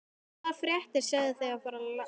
Og hvaða fréttir segið þér af voru landi Íslandi?